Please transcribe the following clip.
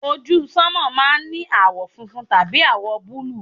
ojú sánmà máà ń ní àwọ̀ funfun tàbí àwọ̀ búlù